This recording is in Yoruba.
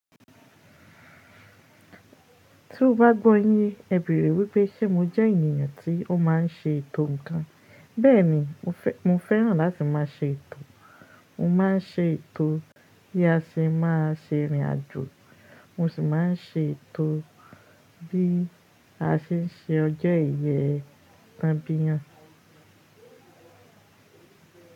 Tí won bá gbọ́ yín ye, ẹ bìrè wípé Ṣé mo jẹ́ èniyàn tí ó máa ń ṣe ètò ǹnkan. Bẹ́ẹ̀ni, mo fe, mo fẹ́ràn láti máa ṣe ètò. Mo máa ń ṣe ètò bí a ṣe máa ṣe rìn rìn àjò, mo sì má a ń ṣe ètò bí a ṣe ń ṣe ọjọ́ ìyẹ́ tán bíyàn.